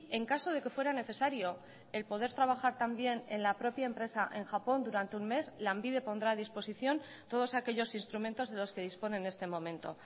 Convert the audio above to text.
en caso de que fuera necesario el poder trabajar también en la propia empresa en japón durante un mes lanbide pondrá a disposición todos aquellos instrumentos de los que dispone en este momento